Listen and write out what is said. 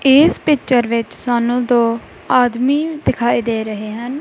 ਇਸ ਪਿੱਚਰ ਵਿੱਚ ਸਾਨੂੰ ਦੋ ਆਦਮੀ ਦਿਖਾਈ ਦੇ ਰਹੇ ਹਨ।